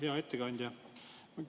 Hea ettekandja!